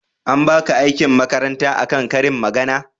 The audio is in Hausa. an baka aikin makaranta a kan ƙarin magana ne?